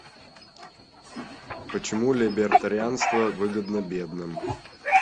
почему либертарианство выгодно бедным